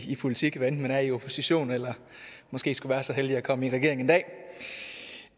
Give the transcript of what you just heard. politik hvad enten man er i opposition eller måske skulle være så heldig at komme i regering en dag